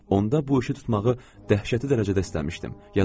Onda bu işi tutmağı dəhşəti dərəcədə istəmişdim, yadımdadır.